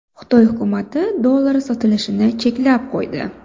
Xitoy hukumati dollar sotilishini cheklab qo‘ydi.